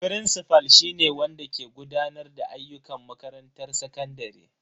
Firincifal shi ne wanda ke gudanar da ayyukan makarantar sakandare.